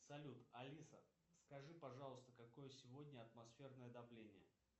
салют алиса скажи пожалуйста какое сегодня атмосферное давление